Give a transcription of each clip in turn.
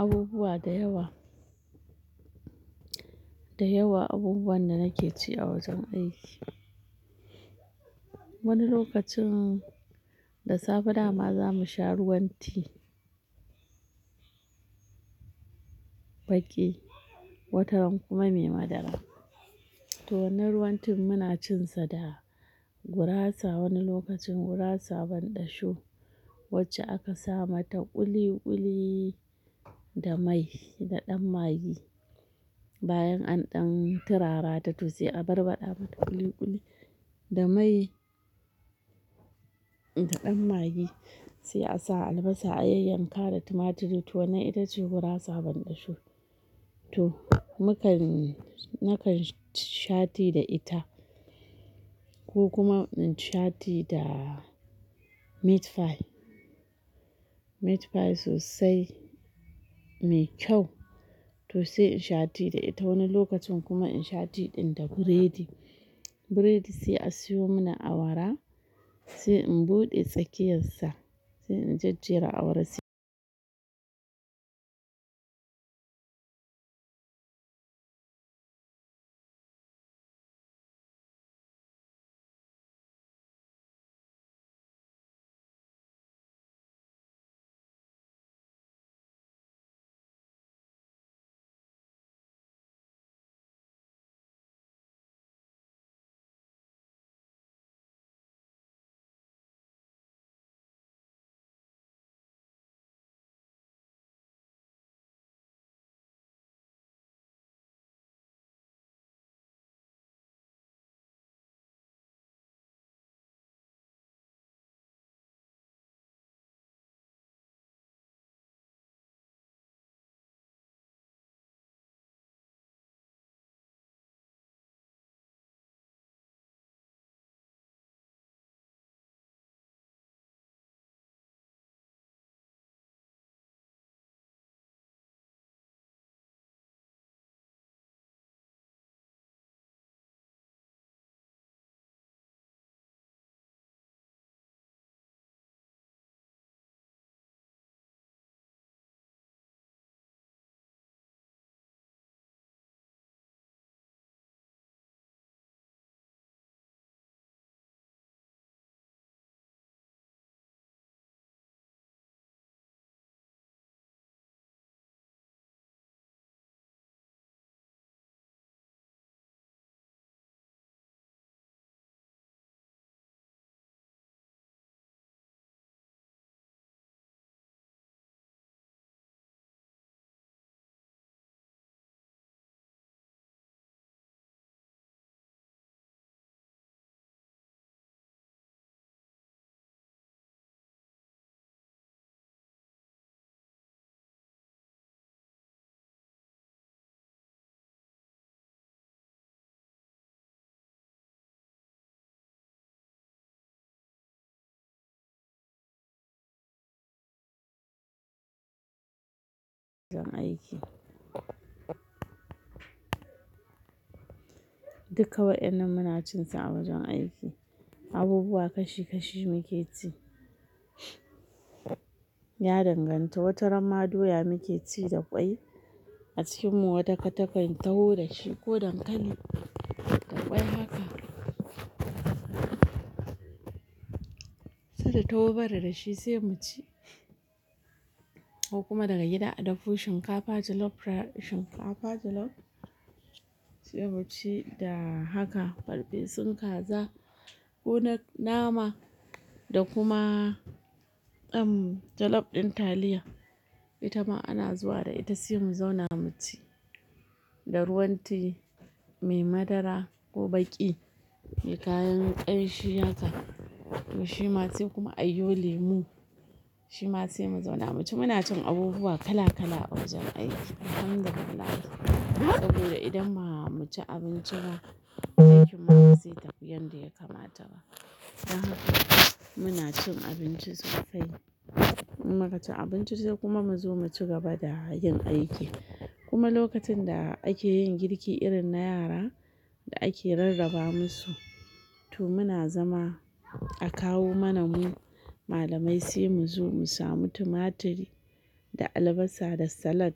Abubuwa da yawa, da yawa abubuwan da nake ci a wajen aiki. Wani lokacin da safe dama za mu sha ruwan ti, baƙi, wataran kuma mai madara. To wannan ruwan tin muna cinsa da gurasa wani lokacin gurasa banɗasho, wacce aka sa mata ƙuli-ƙuli da mai da ɗan magi. Bayan an ɗan turara ta to sai a barbaɗa ta ƙuli-ƙuli da mai da ɗan magi sai a sa albasa, ayayyanka da tumatiri. To wannan ita ce gurasa banɗasho. To muka, nakan sha ti da ita ko kuma in sha ti da meat pie. Meat pie sosai mai kyau to sai in sha ti da ita wani lokacin kuma in sha ti ɗin da burodi. Buredi sai a siyo mini awara sai in buɗe tsakiyarsa sai in jejjera awara sai- duka wa'inan muna cinsa a wajen aiki, abubuwa kashi-kashi muke ci. Ya danganta, wataramma doya muke ci da ƙwai a cikin mu wata katakan taho da shi ko dankali da ƙwai haka. Sai ta tawo mana da shi sai mu ci ko kuma daga gida a dafo shinkafa jolof rice, shinkafa jolof sai mu ci da haka farfesun kaza ko na nama da kuma, um, jolof ɗin taliya. Ita ma ana zuwa da ita sai mu zauna mu ci da ruwan ti mai madara ko baƙi, mai kayan ƙanshi haka to shi ma sai kuma ayo lemu. Shi ma sai mu zauna mu ci, muna cin abubuwa kala-kala a wajen aiki. Alhamdulillah. Saboda idan ba mu ci abinci ba, aikin ma bai zai tafi yanda ya kamata ba. Muna cin abinci sosai, in mu ka ci abinci sai kuma mu zo mu cigaba da yin aiki. Kuma lokacin da ake yin girki irin na yara da ake rarraba musu, to muna zama a kawo mana mu malamai sai mu zo mu samu tumatiri da albasa da salad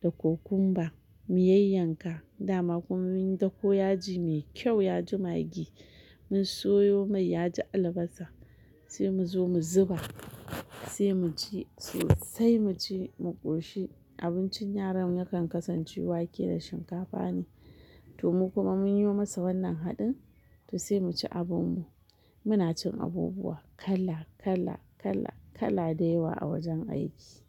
da cucumber mu yayyanka, dama kuma mun da ko yaji mai kyau yaji magi mun soyo mai yaji albasa sai mu zo mu zuba sai mu ci sosai mu ci mu ƙoshi. Abincin yaran yakan kasance wake da shinkafa ne to mu kuma mun yi masa wannan haɗin to sai mu ci abin mu. Muna cin abubuwa kala-kala kala-kala da yawa a wajen aiki.